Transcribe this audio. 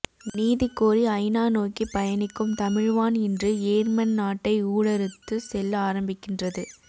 நீதி கோரி ஐநா நோக்கி பயணிக்கும் தமிழ் வான் இன்று யேர்மன் நாட்டை ஊடறுத்து செல்ல ஆரம்பிக்கின்றது